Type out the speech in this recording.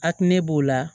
A tun ne b'o la